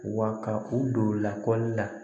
Wa ka u don lakɔli la